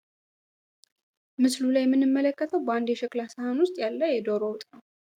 ምስሉ ላይ የምንመለከተው በአንድ የሸክላ ንስሀ ውስጥ ያለ የዶሮ ወጥ ነው።